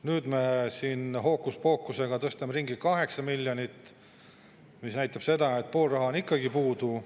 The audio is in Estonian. Nüüd me siin hookuspookusega tõstame ringi 8 miljonit, mis näitab seda, et pool raha on ikkagi puudu.